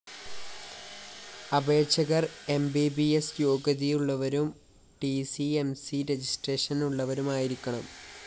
അപേക്ഷകര്‍ M B B S യോഗ്യതയുളളവരും T C M C registration ഉളളവരുമായിരിക്കണം